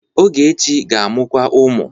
Ogechi ga-amụkwu ụmụ.